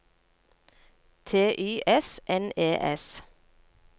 T Y S N E S